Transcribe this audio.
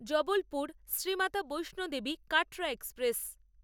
Jabalpur Shri Mata Vaishno Devi Katra express